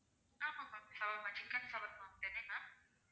ஆமா ma'am shawarma chicken shawarma என்னென்னா